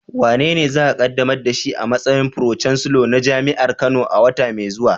Wanene za a kaddamar da shi a matsayin Pro-chancellor na jami'ar Kano a wata mai zuwa?